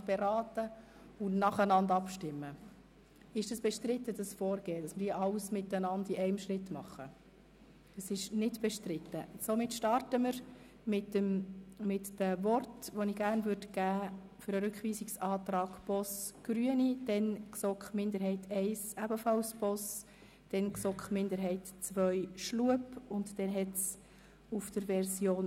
Der Regierungsrat legt den Grundbedarf für den Lebensunterhalt für bedürftige Personen zwischen 18 und 25 Jahren nach sechs Monaten um höchstens 30 Prozent tiefer als nach den SKOS-Richtlinien vorgesehen fest, solange sie keine Ausbildung absolvieren, keine Erwerbstätigkeit ausüben oder nicht an einem Arbeitseinsatz oder einem Integrationsprogramm teilnehmen.